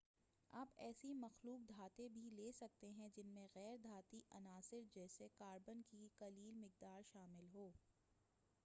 آپ ایسی مخلوط دھاتیں بھی لے سکتے ہیں جن میں غیر دھاتی عناصر جیسے کاربن کی قلیل مقدار شامل ہو